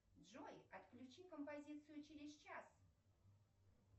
джой отключи композицию через час